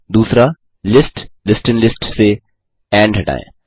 2लिस्ट list in list से end हटायें